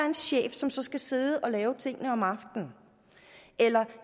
en chef som så skal sidde og lave tingene om aftenen eller